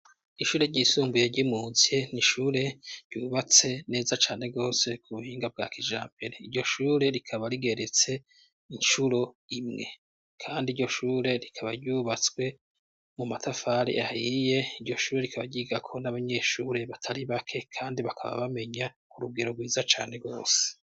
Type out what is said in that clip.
Ishure ryisumbuye ryimutse ntishure ryubatse neza cane rwose ku buhinga bwa kija mbere iryo shure rikaba rigeretse incuro imwe, kandi iryo shure rikaba ryubatswe mu matafari ahiye iryo shure rikaba ryigako n'abanyeshure batari bake, kandi bakaba bamenya ku rugero rwiza cae ane gose.